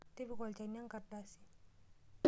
Tipika olchani enkardasi.